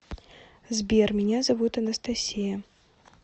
сбер меня зовут анастасия